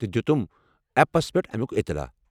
تہٕ دِتُم ایپس پٮ۪ٹھ امُیٛك اطلاع۔